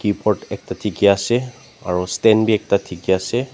keyboard ekta dekhi ase aru stan vi ekta dekhi ase.